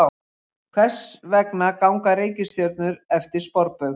Hvers vegna ganga reikistjörnur eftir sporbaug?